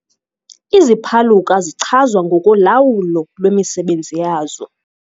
Iziphaluka zichazwa ngokolawulo lwemisebenzi yazo.